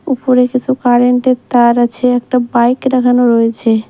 উফরে কিছু কারেন্ট -এর তার আছে একটা বাইক রাখানো রয়েছে।